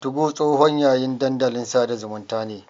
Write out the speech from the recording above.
Tugo tsohon yayin dandalin sada zumunta ne.